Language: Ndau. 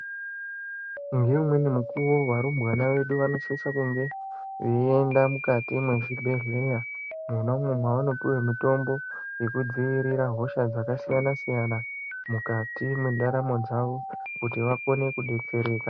Neumweni mukuvo varumbwana vedu vanosise kunge veienda mukati mwezvibhedhleya mwona umwo mavanopiva mutombo vekudzivirira hosha dzakasiyana-siyana. Mukati mendaramo dzavo kuti vakone kubetsereka.